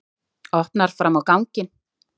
Opnar fram á ganginn.